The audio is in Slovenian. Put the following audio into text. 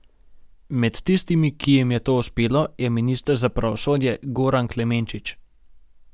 Med tistimi, ki jim je to uspelo, je minister za pravosodje Goran Klemenčič.